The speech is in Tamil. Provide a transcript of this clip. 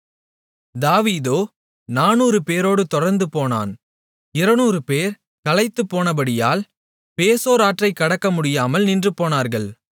தாவீதோ 400 பேரோடுத் தொடர்ந்து போனான் 200 பேர் களைத்துப்போனபடியால் பேசோர் ஆற்றைக் கடக்கமுடியாமல் நின்றுபோனார்கள்